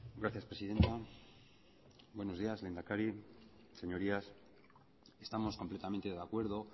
gracias presidenta buenos días lehendakari señorías estamos completamente de acuerdo